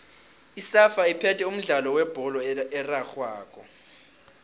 isafa iphethe umdlalo webholo erarhwako